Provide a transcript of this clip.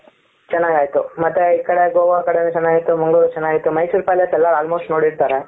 ಚೆನ್ನಾಗಿ ಆಯ್ತು ಮತ್ತೆ ಈ ಕಡೆ ಗೋವಾ ಕಡೆನೂ ಚೆನ್ನಾಗಿತ್ತು ಮಂಗಳೂರು ಚೆನ್ನಾಗಿತ್ತು ಮೈಸೂರ್ ಪ್ಯಾಲೆಸ್ ಎಲ್ಲಾ almost ನೋಡಿರ್ತಾರೆ.